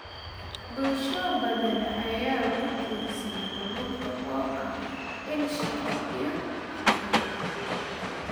Bulsho badan ayaa ku tiirsan kalluunka oo ah il shaqo iyo dakhli.